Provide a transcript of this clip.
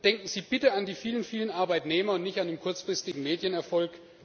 Denken Sie bitte an die vielen, vielen Arbeitnehmer und nicht an den kurzfristigen Medienerfolg!